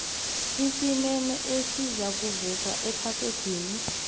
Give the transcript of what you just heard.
isimemo esizakuvezwa egazedini